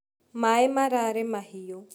Maĩ mararĩ mahĩũ.